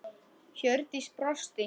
Hjördís brosti.